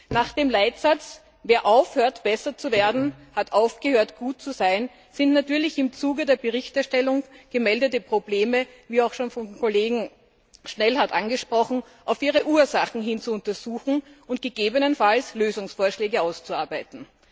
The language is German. Nach dem Leitsatz Wer aufhört, besser zu werden, hat aufgehört, gut zu sein sind natürlich im Zuge der Berichterstellung gemeldete Probleme wie bereits vom Kollegen Schnellhardt angesprochen auf ihre Ursachen hin zu untersuchen und gegebenenfalls Lösungsvorschläge auszuarbeiten.